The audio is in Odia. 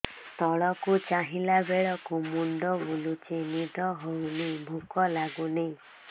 ତଳକୁ ଚାହିଁଲା ବେଳକୁ ମୁଣ୍ଡ ବୁଲୁଚି ନିଦ ହଉନି ଭୁକ ଲାଗୁନି